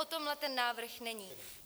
O tomhle ten návrh není.